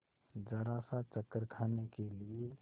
जरासा चक्कर खाने के लिए